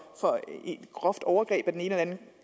et groft overgreb af den ene eller den